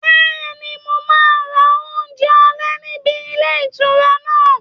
Bẹ́ẹ̀ni, mo máa ra oúnjẹ alẹ́ níbi ilé ìtura náà